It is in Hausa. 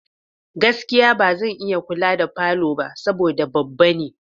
Gaskiya! Ba zan iya kula da falo ba saboda babba ne.